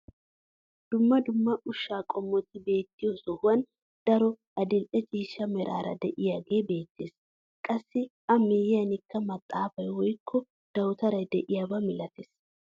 Dumma dumma ushshaa qomoti beettiyoo sohuwaan daroy adil'e ciishsha meraara de'iyaage beettees. qassi a miyiyanikka maxaafay woykko dawutaray de'iyaaba milatees.